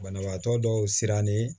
Banabaatɔ dɔw sirannen